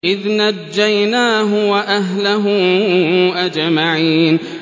إِذْ نَجَّيْنَاهُ وَأَهْلَهُ أَجْمَعِينَ